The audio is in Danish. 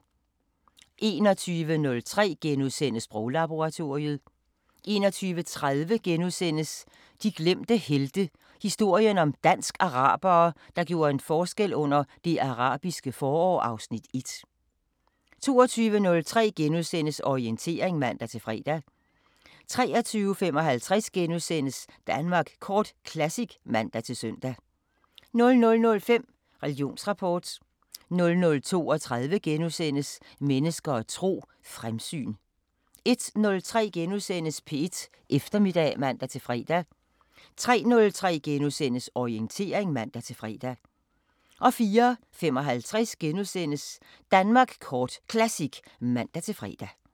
21:03: Sproglaboratoriet * 21:30: De glemte helte – historien om dansk-arabere, der gjorde en forskel under Det Arabiske forår (Afs. 1)* 22:03: Orientering *(man-fre) 23:55: Danmark Kort Classic *(man-søn) 00:05: Religionsrapport 00:32: Mennesker og tro: Fremsyn * 01:03: P1 Eftermiddag *(man-fre) 03:03: Orientering *(man-fre) 04:55: Danmark Kort Classic *(man-fre)